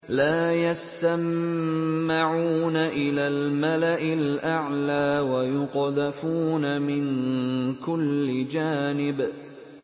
لَّا يَسَّمَّعُونَ إِلَى الْمَلَإِ الْأَعْلَىٰ وَيُقْذَفُونَ مِن كُلِّ جَانِبٍ